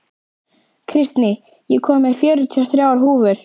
Kristný, ég kom með fjörutíu og þrjár húfur!